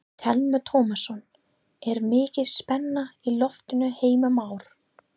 Telma Tómasson: Er mikil spenna í loftinu Heimir Már?